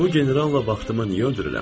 Bu generalla vaxtımı niyə öldürürəm?